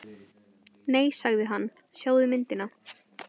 Nei sagði hann, sjáðu myndina.